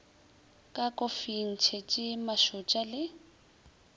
ka kofing tšhese mašotša le